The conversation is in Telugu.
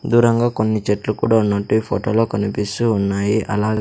దూరంగా కొన్ని చెట్లు కూడా ఉన్నట్టు ఈ ఫోటో లో కనిపిస్తూ ఉన్నాయి అలా.